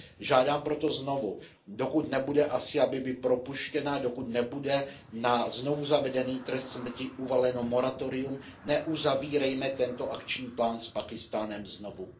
Žádám proto znovu, dokud nebude Asia Bibi propuštěna, dokud nebude na znovu zavedený trest smrti uvaleno moratorium, neuzavírejme tento akční plán s Pákistánem znovu.